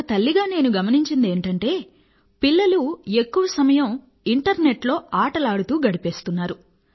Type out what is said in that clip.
ఒక తల్లిగా నేను గమనించినది ఏమిటంటే పిల్లలు ఎక్కువ సమయం ఇంటర్నెట్ లో ఆటలు ఆడుతూ గడిపేస్తున్నారు